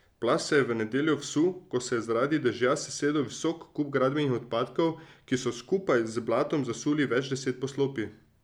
Plaz se je v nedeljo vsul, ko se je zaradi dežja sesedel visok kup gradbenih odpadkov, ki so skupaj z blatom zasuli več deset poslopij.